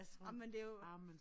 Ej men det jo